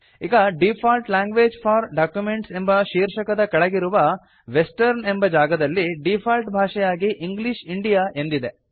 ಈಗ default languages for documents ಎಂಬ ಶೀರ್ಷಕದ ಕೆಳಗಿರುವ ವೆಸ್ಟರ್ನ್ ಎಂಬ ಜಾಗದಲ್ಲಿ ಡೀಫಾಲ್ಟ್ ಭಾಷೆಯಾಗಿ ಇಂಗ್ಲಿಷ್ ಇಂಡಿಯಾ ಎಂದಿದೆ